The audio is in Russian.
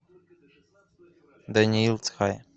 даниил цхай